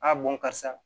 A bɔn karisa